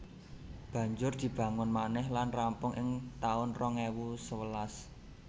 Banjur dibangun manèh lan rampung ing taun rong ewu sewelas